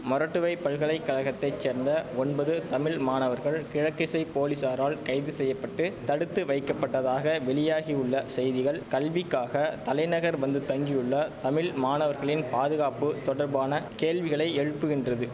மொறட்டுவை பல்கலை கழகத்தை சேர்ந்த ஒன்பது தமிழ் மாணவர்கள் கிழக்கிசை போலீஸாரால் கைது செய்ய பட்டு தடுத்து வைக்கப்பட்டதாக வெளியாகியுள்ள செய்திகள் கல்விக்காக தலைநகர் வந்து தங்கியுள்ள தமிழ் மாணவர்களின் பாதுகாப்பு தொடர்பான கேள்விகளை எழுப்புக்கின்றது